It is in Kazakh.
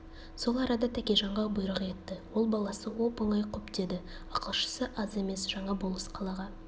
сол арада тәкежанға бұйрық етті ол баласы оп-оңай құп деді ақылшысы аз емес жаңа болыс қалаға